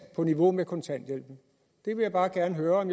på niveau med kontanthjælpen jeg vil bare gerne høre om